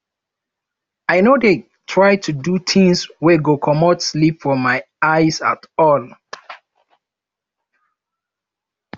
i no dey try do tins wey go comot sleep from my eyes at all